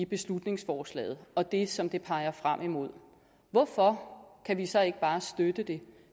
beslutningsforslaget og det som det peger frem imod hvorfor kan vi så ikke bare støtte det